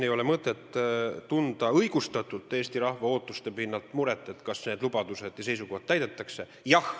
Ei ole mõtet tunda Eesti rahva ootuste pinnalt õigustatud muret, kas need lubadused ja seisukohad täide viiakse.